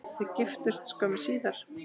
Þau giftust skömmu síðar.